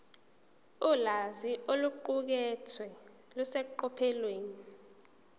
ulwazi oluqukethwe luseqophelweni